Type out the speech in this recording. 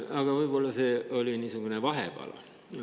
Aga see oli niisugune vahepala.